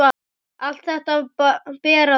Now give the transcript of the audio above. Allt þetta ber að þakka.